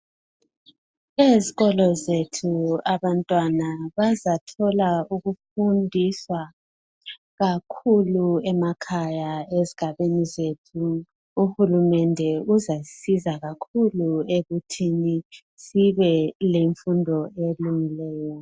Ezikolo zethu abantwana bazathola ukufundiswa kakhulu emakhaya lezigabheni zethu uhulumende uzasisiza kakhulu ekuthini sibe lemfundo elungileyo.